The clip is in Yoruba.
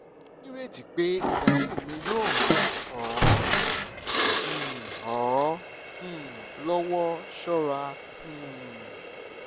mo nireti pe idahun mi yoo ran ọ um ọ um lọwọ ṣọra um